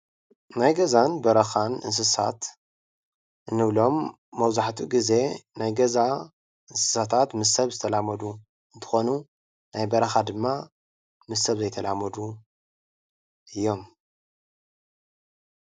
ናይ ገዛን በረኻን እንስሳት እንብሎም መበዛሕትኡ ግዘ ናይ ገዛ እንስሳታት ምስ ሰብ ዝተላመዱ እንትኾኑ ናይ በረኻ ድማ ምስ ሰብ ዘይተላመዱ እዮም።